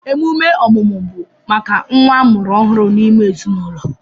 Emume ọmụmụ bụ maka nnwa amụrụ ọhụrụ n'ime ezinụlọ